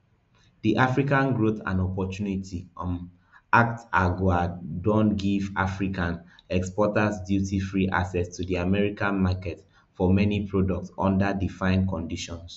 di african growth and opportunity um act agoa don give african exporters dutyfree access to di american market for many products under defined conditions